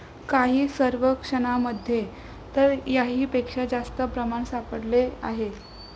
काही सर्वेक्षणांमध्ये तर याहीपेक्षा जास्त प्रमाण सापडले आहे.